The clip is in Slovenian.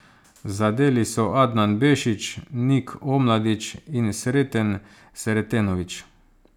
Zadeli so Adnan Bešić, Nik Omladić in Sreten Sretenović.